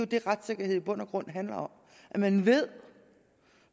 det retssikkerhed i bund og grund handler om at man ved